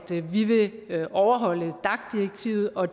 vi vil overholde dac direktivet og